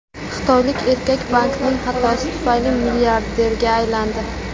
Xitoylik erkak bankning xatosi tufayli milliarderga aylandi.